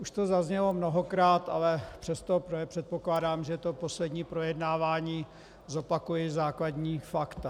Už to zaznělo mnohokrát, ale přesto předpokládám, že to poslední projednávání - zopakuji základní fakta.